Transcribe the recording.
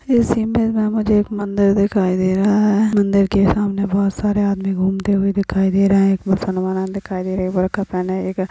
इश इमेज में मुझे एक मंदिर दिखाई दे रहा है मंदिर के सामने बहोत सारे आदमी घूमते हुए दिखाई दे रहा है एक मुसलमान दिखाई दे रहा है बुर्खा पहनी एक--